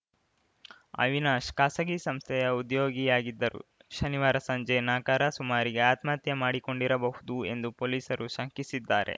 ಅವಿನಾಶ್‌ ಖಾಸಗಿ ಸಂಸ್ಥೆಯ ಉದ್ಯೋಗಿಯಾಗಿದ್ದರು ಶನಿವಾರ ಸಂಜೆ ನಾಕ ರ ಸುಮಾರಿಗೆ ಆತ್ಮಹತ್ಯೆ ಮಾಡಿಕೊಂಡಿರಬಹುದು ಎಂದು ಪೊಲೀಸರು ಶಂಕಿಸಿದ್ದಾರೆ